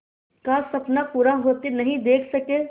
का सपना पूरा होते नहीं देख सके